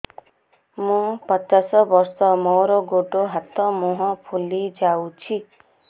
ମୁ ପଚାଶ ବର୍ଷ ମୋର ଗୋଡ ହାତ ମୁହଁ ଫୁଲି ଯାଉଛି